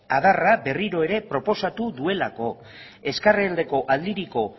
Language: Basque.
adarra berriro ere proposatu duelako ezkerraldeko aldiriko